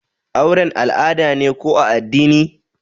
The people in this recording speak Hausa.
auren al'ada ne ko na addini?